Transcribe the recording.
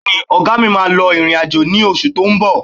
Bẹ́ẹ̀ni, ọ̀gá mi máa lọ ìrìn-àjò ní oṣù tó ń bọ̀